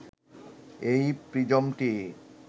এই প্রিজমটি